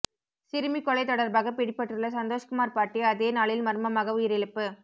சிறுமி கொலை தொடர்பாக பிடிபட்டுள்ள சந்தோஷ்குமார் பாட்டி அதே நாளில் மர்மமாக உயிரிழப்பு